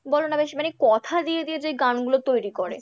বলো না বেশ মানে কথা দিয়ে দিয়ে যে গানগুলো তৈরি করে,